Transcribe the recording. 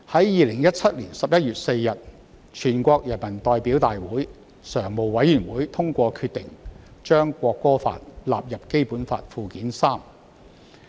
2017年11月4日，全國人民代表大會常務委員會通過決定，將《國歌法》列入《基本法》附件三。